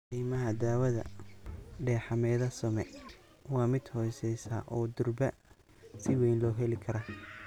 Qiimaha daawada dexamethasone waa mid hooseeya oo durba si weyn loo heli karo.